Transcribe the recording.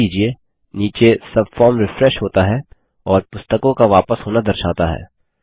ध्यान दीजिये नीचे सबफार्म रिफ्रेश होता है और पुस्तकों का वापस होना दर्शाता है